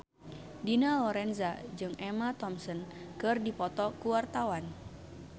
Dina Lorenza jeung Emma Thompson keur dipoto ku wartawan